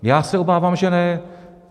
Já se obávám, že ne.